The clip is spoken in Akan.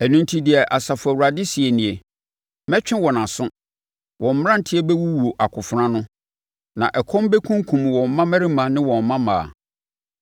Ɛno enti, deɛ Asafo Awurade seɛ nie: “Mɛtwe wɔn aso. Wɔn mmeranteɛ bɛwuwu akofena ano, na ɛkɔm bɛkunkum wɔn mmammarima ne mmammaa.